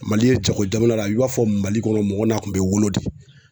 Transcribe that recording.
Mali ye jago jamana i b'a fɔ Mali kɔnɔ mɔgɔ n'a kun bɛ wolo de.